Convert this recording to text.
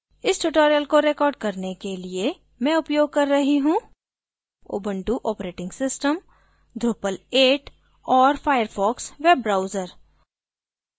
इस tutorial को record करने के लिए मैं उपयोग कर रही हूँ